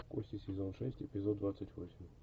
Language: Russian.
кости сезон шесть эпизод двадцать восемь